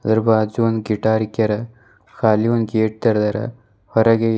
ಅದರ ಬಾಜು ಒಂದು ಗಿಟಾರ್ ಇಕ್ಯಾರ ಖಾಲಿ ಒಂದು ಗೇಟ್ ತೆರ್ದ್ಯಾರ ಹೊರಗೆ--